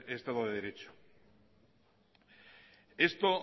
en este estado de derecho